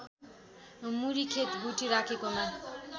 मुरी खेत गुठी राखेकोमा